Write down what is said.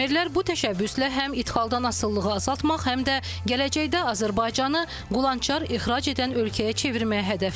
Fermerlər bu təşəbbüslə həm ixcaldan asılılığı azaltmaq, həm də gələcəkdə Azərbaycanı qulançar ixrac edən ölkəyə çevirməyi hədəfləyir.